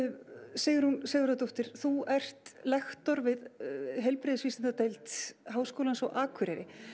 Sigrún Sigurðardóttir þú ert lektor við Háskólans á Akureyri